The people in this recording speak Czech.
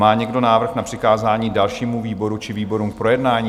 Má někdo návrh na přikázání dalšímu výboru či výborům k projednání?